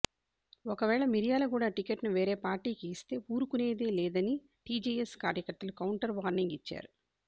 ఒకవేళ మిర్యాలగూడ టికెట్ ను వేరే పార్టీకి ఇస్తే ఊరుకునేది లేదని టీజేఎస్ కార్యకర్తలు కౌంటర్ వార్నింగ్ ఇచ్చారు